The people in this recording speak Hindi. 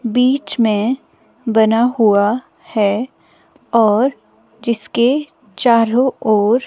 बीच में बना हुआ है और जिसके चारों ओर--